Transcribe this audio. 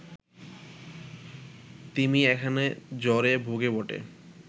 তিমি এখানে জ্বরে ভোগে বটে